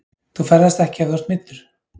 Þú ferðast ekki ef þú ert meiddur.